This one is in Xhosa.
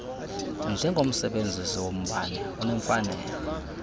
njengomsebenzisi wombane unemfanelo